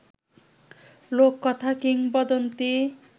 লোককথা, কিংবদন্তি